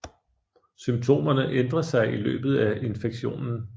Symptomerne ændrer sig i løbet af infektionen